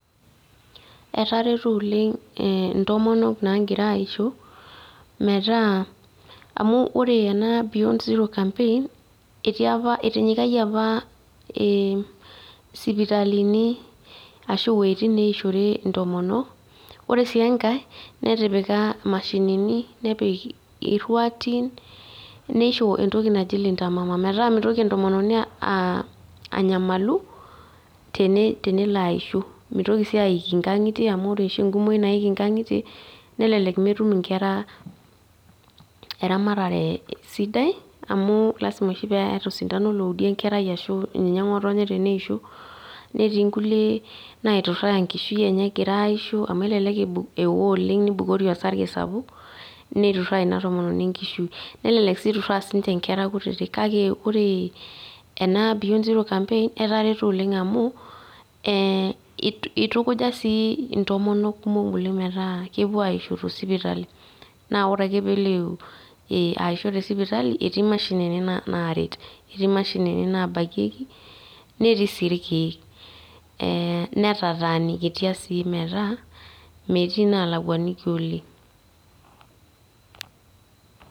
Etareto oleng' intomonok naakira aishoo, metaa amu wore ena beyond zero campaign, etii apa etinyikayie apa sipitalini ashu wojitin naishorie intomonok, wore sii enkae, netipika imashinini, nepik irruarin, neisho entoki naji Linta mama metaa mitoki entomononi anyamalu tenelo aisho. Mitoki sii aiki inkagitie amu wore oshi enkumoi naiki inkangitie, nelelek metum inkera eramatare sidai amu lasima oshi peetae osindano oudi enkerai arashu ngotonye teneisho, netii inkulie naituraa enkishui enye ekira aishoo amu elelek eo oleng' nibukori osarge sapuk, nituraa ina tomononi enkishui. Nelelek sii iturraa sinche inkera kutitik kake wore ena beyond zero campaign etareto oleng' amu, itukuja sii intomonok kumok oleng' metaa kepuo aishoo te sipitali. Naa wore ake pee elo aisho te sipitali, etii imashinini naaret, etii imashinini naabaki , netii sii irkiek, netatanikitia sii metaa metii inaalakuaniki oleng'.